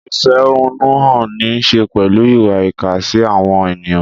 Ìfẹ̀hónúhàn ní í ṣe pẹ̀lú ìwà ìkà sí àwọn ènìyàn.